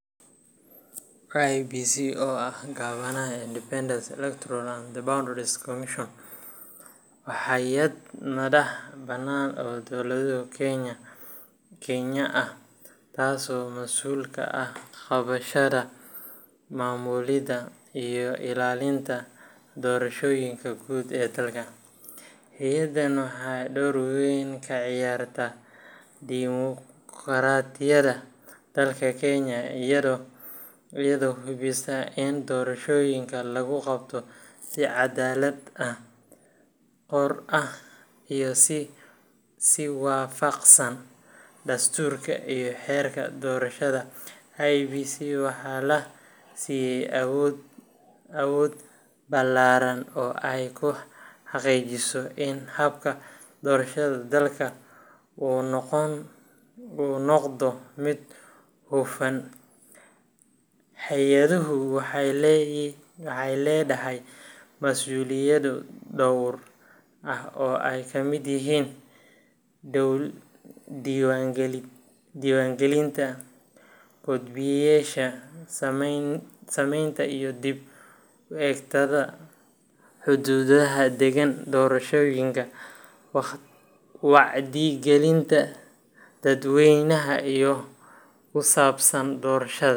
IEBC, oo ah gaabanaha Independent Electoral and Boundaries Commission, waa hay’ad madax bannaan oo dowladda Kenya ah, taasoo mas’uul ka ah qabashada, maamulidda, iyo ilaalinta doorashooyinka guud ee dalka. Hay’addan waxay door weyn ka ciyaartaa dimuqraadiyadda dalka Kenya iyadoo hubisa in doorashooyinka lagu qabto si cadaalad ah, xor ah, iyo si waafaqsan dastuurka iyo xeerarka doorashada. IEBC waxaa la siiyay awood ballaaran oo ay ku xaqiijiso in habka doorashada dalka uu noqdo mid hufan. Hay’addu waxay leedahay mas’uuliyado dhowr ah oo ay ka mid yihiin: diiwaangelinta codbixiyeyaasha, samaynta iyo dib u eegidda xuduudaha deegaan doorashooyinka, wacyigelinta dadweynaha ee ku saabsan doorashada.